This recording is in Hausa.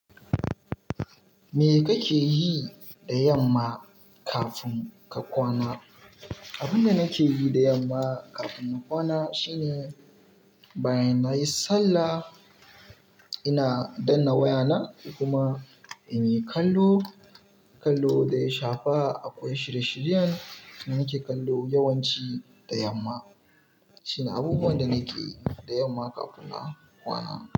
Me kake yi da yamma kafin ka kwana? Abinda nake yi da yamma kafin in kwana shi ne bayan nayi sallah, ina danna wayana kuma in yi kallo, kallo da ya shafa akwai shirye-shiryen da nake kallo yawanci da yamma. Shine abubuwan da nake yi da yamma kafin na kwana.